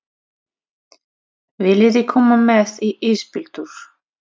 Viljiði koma með í ísbíltúr?